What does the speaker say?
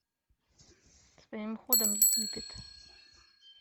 своим ходом египет